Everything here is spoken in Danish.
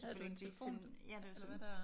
Havde du en telefon eller hvad der?